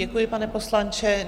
Děkuji, pane poslanče.